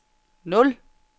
nul